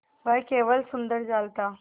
वह केवल सुंदर जाल था